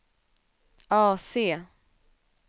AC